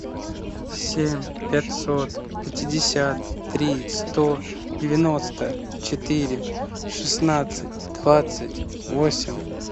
семь пятьсот пятьдесят три сто девяносто четыре шестнадцать двадцать восемь